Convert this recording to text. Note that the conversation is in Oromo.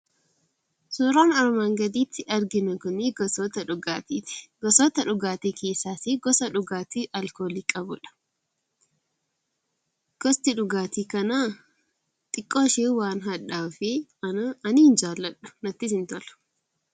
Suuraan armaan gadiitti arginu kuni gosoota dhugaaatiiti. Gosoota dhugaatii keessaasi gosa dhugaatii alkoolii qabudha. Gosti dhugaatii kanaa xiqqooshee waan hadhaa'uufi ani hin jaalladhu! Nattis hin tolu!